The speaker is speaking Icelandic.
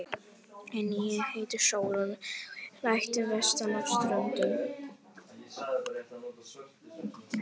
En ég heiti Sólrún og er ættuð vestan af Ströndum.